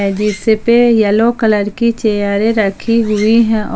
जिसपे yellow colour की चेयरे रखी हुई है और--